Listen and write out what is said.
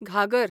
घागर